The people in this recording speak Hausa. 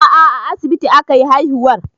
A'a a asibiti akayi haihuwar